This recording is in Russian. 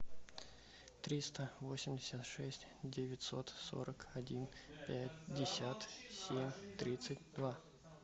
триста восемьдесят шесть девятьсот сорок один пятьдесят семь тридцать два